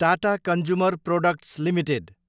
Tata consumer products Ltd